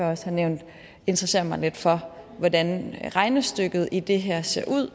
også har nævnt interessere mig lidt for hvordan regnestykket i det her ser ud